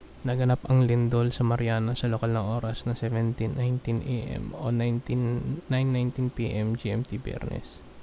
naganap ang lindol sa mariana sa lokal na oras na 07:19 a.m. 09:19 p.m. gmt biyernes